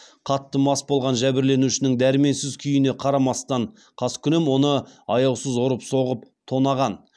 қатты мас болған жәбірленушінің дәрменсіз күйіне қарамастан қаскүнем оны аяусыз ұрып соғып тонаған